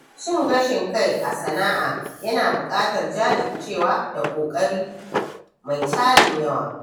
Cin gashin-kai a sana'a yana buƙatar jajircewa da ƙoƙari mai tarin yawa.